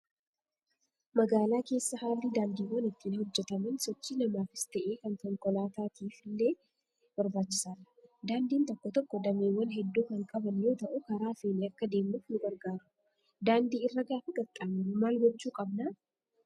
Magaalaa keessa haalli daandiiwwan ittiin hojjataman sochii namaafis ta'ee kan konkolaataaf illee barbaachisaadha. Daandiin tokko tokko dameewwan hedduu kan qaban yoo ta'u karaa feene akka deemnuuf nu gargaaru. Daandii irra gaafa qaxxaamurru maal gochuu qabnaa?